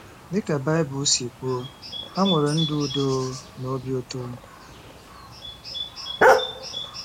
Dị ka Bible si kwuo, ha nwere ndụ udo na obi ụtọ.